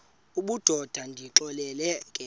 obudoda ndonixelela ke